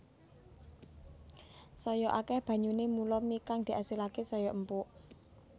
Saya akeh banyune mula mi kang diasilake saya empuk